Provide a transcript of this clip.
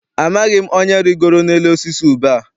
Amaghị m onye rigoro n'elu osisi ube a.